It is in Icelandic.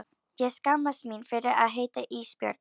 Ég skammast mín fyrir að heita Ísbjörg.